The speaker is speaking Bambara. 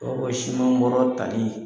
Dɔw ka siman bɔrɔ tali